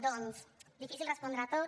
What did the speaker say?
doncs difícil respondre a tot